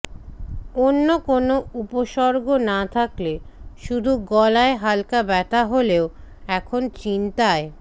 অন্য কোনও উপসর্গ না থাকলে শুধু গলায় হালকা ব্যথা হলেও এখন চিন্তায়